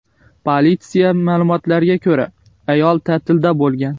Politsiya ma’lumotlariga ko‘ra, ayol ta’tilda bo‘lgan.